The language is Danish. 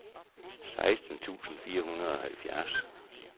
seksten tusind fire hundrede og halvfjerds